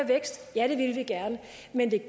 men det